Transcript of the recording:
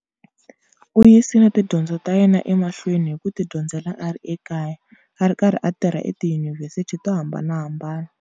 U yisile tidyondzo ta yena emahlweni hi ku tidyondzela a ri ekaya, a ri karhi a tirha etiyunivhesiti to hambanahambana.